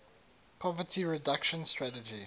poverty reduction strategy